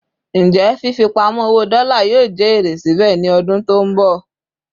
Ǹjẹ́ fífi pamo owó dola yóò jẹ èrè síbè ni odun tó nbọ